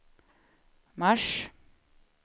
mars